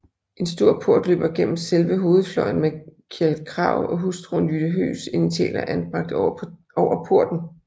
En stor port løber igennem selve hovedfløjen med Kjeld Krag og hustruen Jytte Høgs initialer anbragt over porten